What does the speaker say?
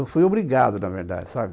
Eu fui obrigado, na verdade, sabe?